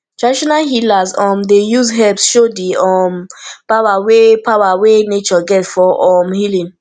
traditional healers um dey use herbs show di um power wey power wey nature get for um healing